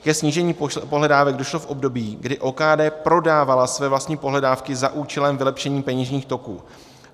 Ke snížení pohledávek došlo v období, kdy OKD prodávala své vlastní pohledávky za účelem vylepšení peněžních toků.